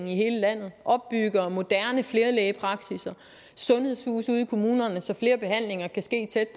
i hele landet opbygger moderne flerelægepraksisser sundhedshuse ude i kommunerne så flere behandlinger kan ske tæt